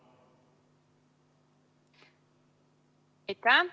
Aitäh!